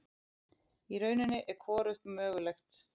Í rauninni er hvorugt mögulegt.